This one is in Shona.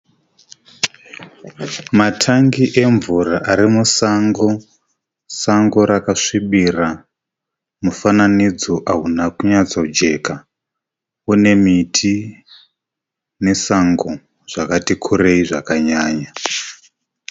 Matangi emvura arimusango, sango rakasvibira. Mufananidzo ahuna kunyatsojeka, unemiti nesango zvakati kurei zvakanyanya.